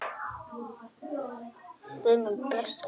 Guð blessi Þóru og Sigga.